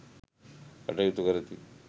කටයුතු කරති.